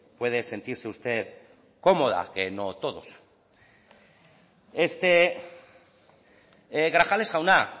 puede sentirse usted cómoda que no todos grajales jauna